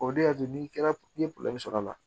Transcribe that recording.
O de y'a to n'i kɛra i ye sɔrɔ a la